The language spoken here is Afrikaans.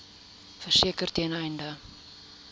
verseker ten einde